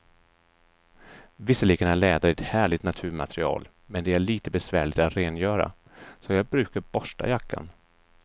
Visserligen är läder ett härligt naturmaterial, men det är lite besvärligt att rengöra, så jag brukar borsta jackan.